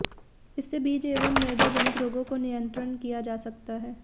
इससे बीज एवं मृदा जनित रोगों को नियंत्रण किया जा सकता है